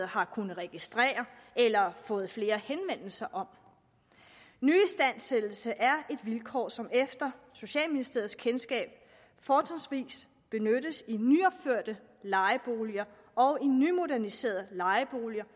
har kunnet registrere i eller har fået flere henvendelser om nyistandsættelser er et vilkår som efter socialministeriets kendskab fortrinsvis benyttes i nyopførte lejeboliger og i nymoderniserede lejeboliger